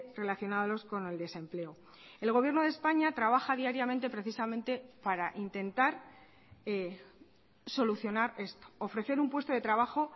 relacionados con el desempleo el gobierno de españa trabaja diariamente precisamente para intentar solucionar esto ofrecer un puesto de trabajo